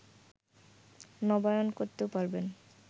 নবায়ন করতেও পারবেন